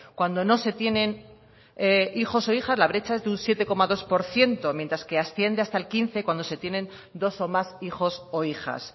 cuando no se tienen hijos o hijas la brecha es de un siete coma dos por ciento mientras que asciende hasta al quince cuando se tienen dos o más hijos o hijas